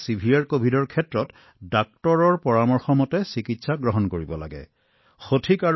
যি মজলীয়া covid moderate covid বা শক্তিশালী কভিড আছে তেন্তে চিকিৎসকৰ সৈতে যোগাযোগ কৰাটো অতি গুৰুত্বপূৰ্ণ